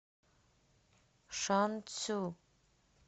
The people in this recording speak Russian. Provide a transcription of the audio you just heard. шанцю